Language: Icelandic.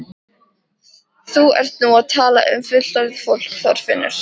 Þú ert nú að tala um fullorðið fólk, Þorfinnur!